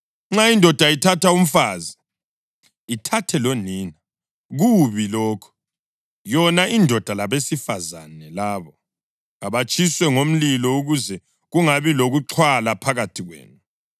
Nxa indoda ithatha umfazi, ithathe lonina, kubi lokho. Yona indoda labesifazane labo kabatshiswe ngomlilo ukuze kungabi lokuxhwala phakathi kwenu.